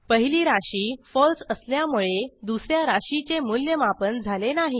पहिली राशी फळसे असल्यामुळे दुस या राशीचे मूल्यमापन झाले नाही